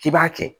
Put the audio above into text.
K'i b'a kɛ